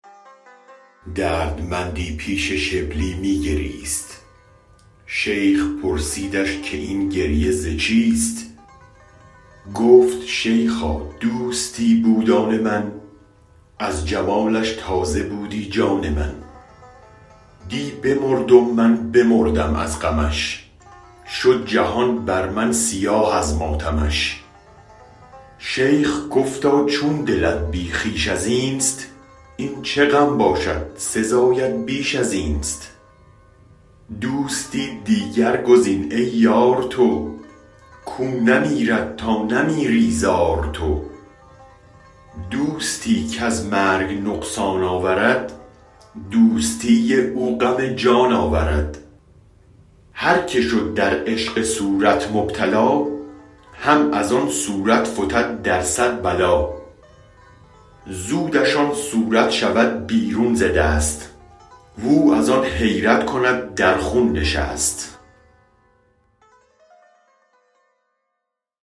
دردمندی پیش شبلی می گریست شیخ پرسیدش که این گریه ز چیست گفت شیخا دوستی بود آن من از جمالش تازه بودی جان من دی بمرد و من بمردم از غمش شد جهان بر من سیاه از ماتمش شیخ گفتا چون دلت بی خویش ازینست این چه غم باشد سزایت بیش ازینست دوستی دیگر گزین ای یار تو کو نمیرد تا نمیری زار تو دوستی کز مرگ نقصان آورد دوستی او غم جان آورد هرکه شد در عشق صورت مبتلا هم از آن صورت فتد در صد بلا زودش آن صورت شود بیرون ز دست و او از آن حیرت کند در خون نشست